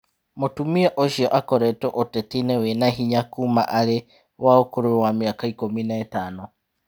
Mũtumia ũcio akoretwo ũteti-inĩ wĩna hinya kuuma arĩ wa ũkũrũ wa mĩaka ikũmi na itano.